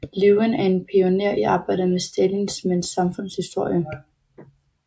Lewin er en pioner i arbejdet med stalinismens samfundshistorie